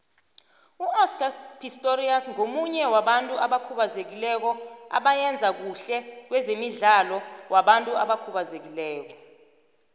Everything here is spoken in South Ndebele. uoscar pistorius ngomunye wabantu abakhubazekileko abayenza khuhle kwezemidlalo wabantu abakhubazekileko